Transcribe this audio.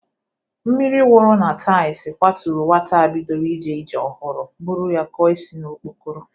Mmiri wuru na taịlz kwaturu nwata a bidoro ije ije ọhụrụ bụrụ ya kụọ isi n'okpokoro.